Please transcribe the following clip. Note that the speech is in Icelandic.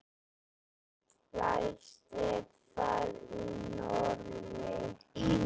Lægst er það í Noregi.